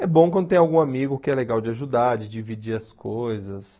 É bom quando tem algum amigo que é legal de ajudar, de dividir as coisas.